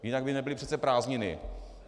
Jinak by nebyly přece prázdniny.